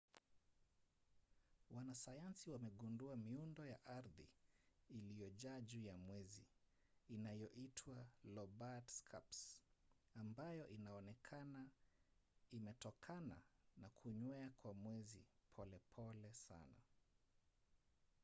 wanasayansi wamegundua miundo ya ardhi iliyojaa juu ya mwezi inayoitwa lobate scarps ambayo inaonekana imetokana na kunywea kwa mwezi polepole sana